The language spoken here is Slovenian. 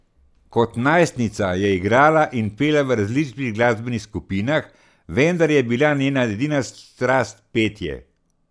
Kot najstnica je igrala in pela v različnih glasbenih skupinah, vendar je bila njena edina strast petje.